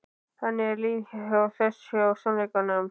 Þannig er líf þess hjá sannleikanum.